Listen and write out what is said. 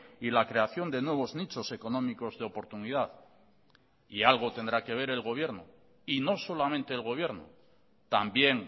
y la creación de nuevos nichos económicos de oportunidad y algo tendrá que ver el gobierno y no solamente el gobierno también